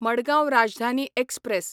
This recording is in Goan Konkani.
मडगांव राजधानी एक्सप्रॅस